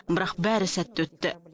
бірақ бәрі сәтті өтті